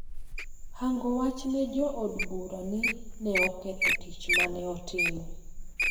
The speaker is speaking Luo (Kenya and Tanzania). hango wach ne jo od bura ni ne oketho tich ma ne otimo.